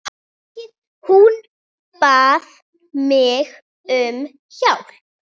Hún bað mig um hjálp.